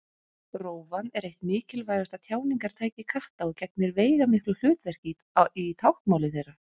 Rófan er eitt mikilvægasta tjáningartæki katta og gegnir veigamiklu hlutverki í táknmáli þeirra.